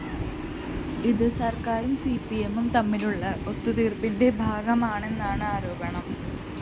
ഇത് സര്‍ക്കാരും സിപിഎമ്മും തമ്മിലുള്ള ഒത്തുതീര്‍പ്പിന്റെ ഭാഗമാണെന്നാണ് ആരോപണം